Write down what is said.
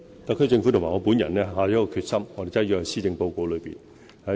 特區政府與我本人下定的決心，已寫進施政報告中。